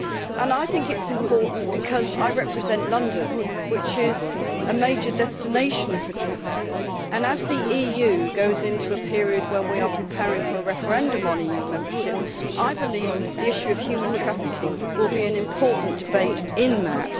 I also think it is important because I represent London, which is a major destination for traffickers, and as the EU goes into a period where we are preparing for a referendum on EU membership, I believe that the issue of human trafficking will be an important debate in that.